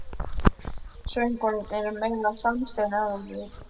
Söngvararnir eru meira samstiga en áður.